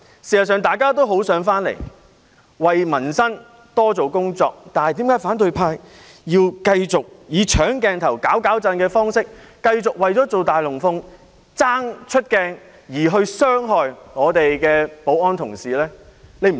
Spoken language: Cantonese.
事實上，大家都很想來到這裏，為民生多做工作，但為何反對派要繼續以"搶鏡頭"、"攪攪震"的方式，繼續為了做"大龍鳳"、爭取出鏡而傷害保安同事呢？